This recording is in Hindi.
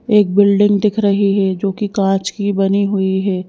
एक बिल्डिंग दिख रही है जो कि कांच की बनी हुई है।